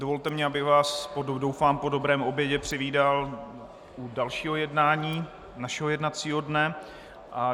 Dovolte mi, abych vás, doufám po dobrém obědě, přivítal u dalšího jednání našeho jednacího dne.